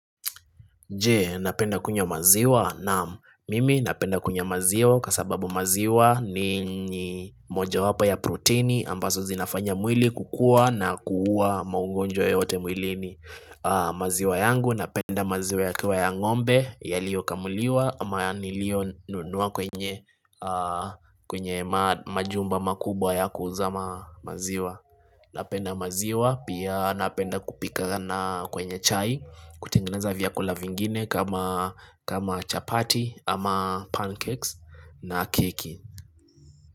Je, napenda kunywa maziwa? Naam, mimi napenda kunywa maziwa kwa sababu maziwa ni mojawapo ya proteini ambazo zinafanya mwili kukua na kuua maungonjwa yote mwilini, maziwa yangu napenda maziwa yakiwa ya ng'ombe yaliokamuliwa ama nilionunua kwenye majumba makubwa ya kuuza maziwa Napenda maziwa pia napenda kupika na kwenye chai kutengeneza vyakula vingine kama kama chapati ama pancakes na keki.